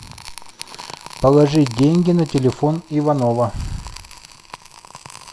положить деньги на телефон иванова